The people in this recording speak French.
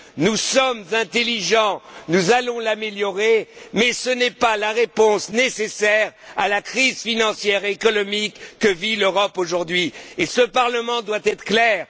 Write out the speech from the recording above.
Nous sommes intelligents, nous allons l'améliorer, mais ce n'est pas la réponse nécessaire à la crise financière et économique que vit l'Europe aujourd'hui. Ce Parlement doit être clair.